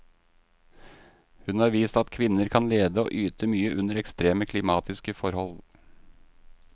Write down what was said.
Hun har vist at kvinner kan lede og yte mye under ekstreme klimatiske forhold.